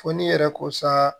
Fo n'i yɛrɛ ko sa